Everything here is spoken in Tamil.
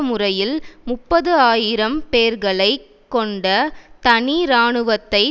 முறையில் முப்பது ஆயிரம் பேர்களைக் கொண்ட தனி இராணுவத்தை